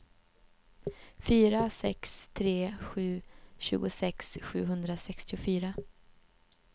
fyra sex tre sju tjugosex sjuhundrasextiofyra